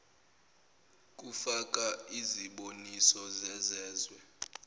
kufaka iziboniso zezezwe